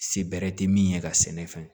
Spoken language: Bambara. Se bɛrɛ tɛ min ye ka sɛnɛfɛn